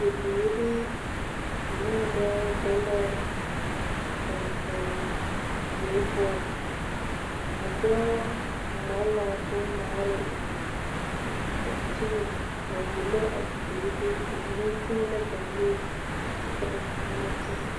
Bibiiri ane dɔɔ be la a kankan diɛ poɔ, a dɔɔ ŋma la bon ŋmaare a dankyini a wulo a bibiiri, ba mine teɛ la ba nuure kyɛ ka ba mine ba teɛ.